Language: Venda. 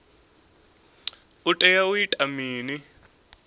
u tea u ita mini